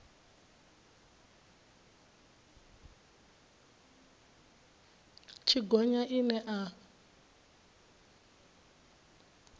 tshi gonya ine a yo